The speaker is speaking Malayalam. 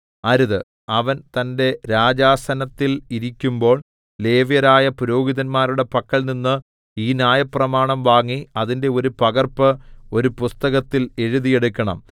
അവൻ തന്റെ രാജാസനത്തിൽ ഇരിക്കുമ്പോൾ ലേവ്യരായ പുരോഹിതന്മാരുടെ പക്കൽനിന്ന് ഈ ന്യായപ്രമാണം വാങ്ങി അതിന്റെ ഒരു പകർപ്പ് ഒരു പുസ്തകത്തിൽ എഴുതി എടുക്കണം